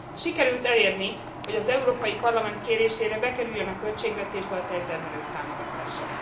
Sikerült elérni, hogy az Európai Parlament kérésére bekerüljön a költségvetésbe a tejtermelők támogatása.